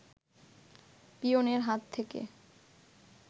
পিয়নের হাত থেকে